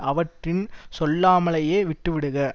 அவிட்ரின் சொல்லாமலேயே விட்டு விடுக